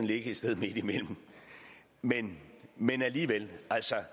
ligge et sted midtimellem men men alligevel det